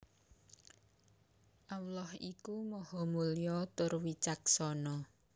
Allah iku Maha Mulya tur Wicaksana